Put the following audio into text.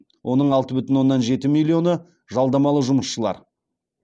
оның алты бүтін оннан жеті миллионы жалдамалы жұмысшылар